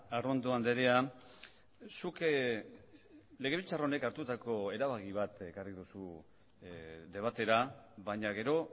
arrondo andrea zuk legebiltzar honek hartutako erabaki bat ekarri duzu debatera baina gero